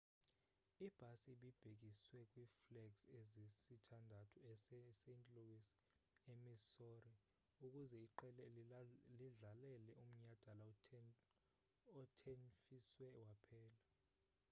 ibhasi ibibhekiswe kwiflegs ezisithandathu est louis emissouri ukuze iqela lidlalele umnyadala othenfiswe waphela